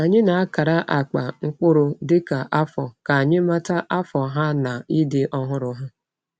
Anyị na-akara akpa mkpụrụ dịka afọ ka anyị mata afọ ha na ịdị ọhụrụ ha.